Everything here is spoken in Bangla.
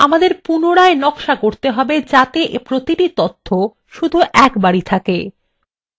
আমাদের পুনরায় নকশা করতে হবে যাতে প্রতিটি তথ্য শুধু একবারই থাকে